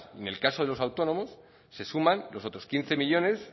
en el caso de los autónomos se suman los otros quince millónes